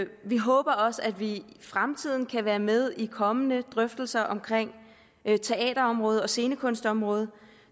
vi håber også at vi i fremtiden kan være med i kommende drøftelser omkring teaterområdet og scenekunstområdet